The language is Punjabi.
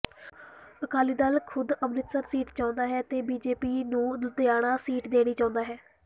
ਅਕਾਲੀ ਦਲ ਖ਼ੁਦ ਅੰਮ੍ਰਿਤਸਰ ਸੀਟ ਚਹੁੰਦਾ ਹੈ ਤੇ ਬੀਜੇਪੀ ਨੂੰ ਲੁਧਿਆਣਾ ਸੀਟ ਦੇਣੀ ਚਾਹੁੰਦਾ ਹੈ